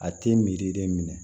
A tɛ miiri de minɛ